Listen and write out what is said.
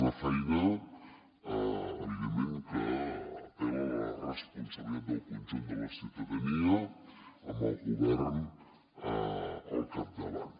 una feina evidentment que apel·la la responsabilitat del conjunt de la ciutadania amb el govern al capdavant